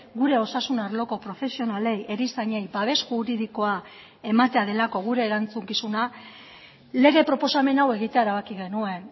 gure osasun arloko profesionalei erizainei babes juridikoa ematea delako gure erantzukizuna lege proposamen hau egitea erabaki genuen